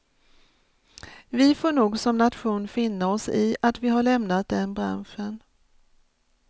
Vi får nog som nation finna oss i att vi har lämnat den branschen.